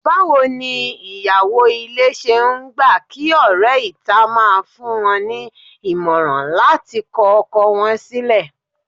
Báwo ni ìyàwó ilé ṣe ń gbà kí ọ̀rẹ́ ìta máa fún wọn ní ìmọ̀ràn láti kọ ọkọ wọn sílẹ̀?